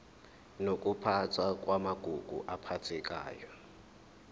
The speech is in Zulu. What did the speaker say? nokuphathwa kwamagugu aphathekayo